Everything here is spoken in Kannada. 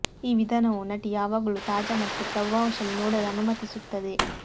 ಈ ವಿಧಾನವು ನಟಿ ಯಾವಾಗಲೂ ತಾಜಾ ಮತ್ತು ಪ್ರಭಾವಶಾಲಿ ನೋಡಲು ಅನುಮತಿಸುತ್ತದೆ